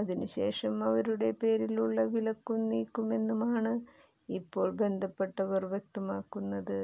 അതിനുശേഷം അവരുടെ പേരിലുള്ള വിലക്കും നീക്കുമെന്നുമാണ് ഇപ്പോൾ ബന്ധപ്പെട്ടവർ വ്യക്തമാക്കുന്നത്